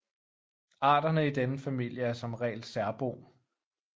Arterne i denne familie er som regel særbo